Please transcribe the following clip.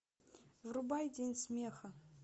врубай день смеха